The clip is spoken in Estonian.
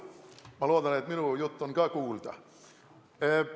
Ma loodan, et minu jutt on ka kuulda.